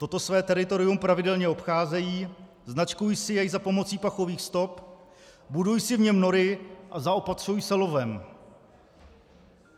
Toto své teritorium pravidelně obcházejí, značkují si jej za pomoci pachových stop, budují si v něm nory a zaopatřují se lovem.